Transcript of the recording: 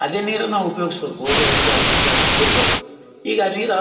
ಅದೇ ನೀರು ನಾವು ಉಪಯೋಗಿಸೋದು ಬೋರು ಇಲ್ಲಗೆ ಅದ್ರಿಂದ ಆ ನೀರು ಬರತ್ತಿತ್ತು ಈಗ ನೀರ್--